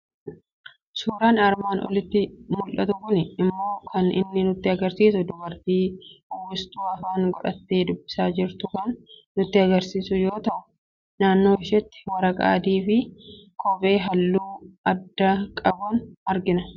Suuraan armaan olitti mul'atu kuni immoo kan inni nutti argisiisu dubartii uwwistuu afaanii godhattee dubbisaa jirtu kan nutti argisiisu yoo ta'u, naannoo isheetti waraqaa adii fi kobbee halluu addaa qaban argina.